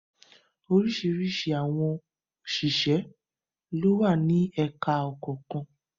Oríṣiríṣi àwọn òṣìṣẹ́ lówà ní ẹka kọ̀ọ̀kan.